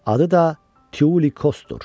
Adı da Tiulikosdur.